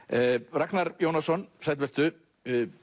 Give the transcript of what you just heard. Ragnar Jónasson sæll vertu